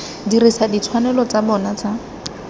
dirisa ditshwanelo tsa bona tsa